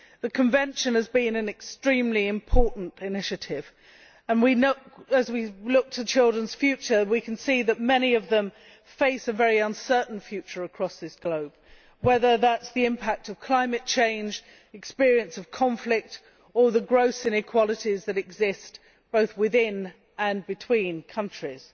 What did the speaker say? The Convention has been an extremely important initiative and, as we look to children's futures, we can see that many of them face a very uncertain future across this globe whether that be the impact of climate change, experience of conflict or the gross inequalities that exist both within and between countries.